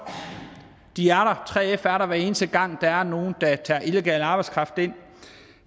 3f er der hver eneste gang der er nogen der tager illegal arbejdskraft ind